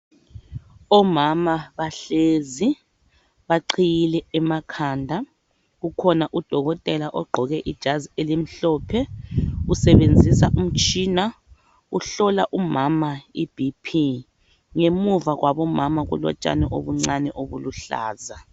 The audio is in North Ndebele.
Omama bahlezi, baqiyile emakhanda. Ukhona udokotela ogqoke ibhatshi elimhlophe. Usebenzisa umtshina, uhlola umama i'BP'. Ngemva kukamama kulotshani okuncane okuluhlaza.